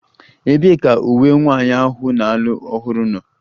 Ebee ka uwe nwanyị ahụ na-alụ ọhụrụ nọ?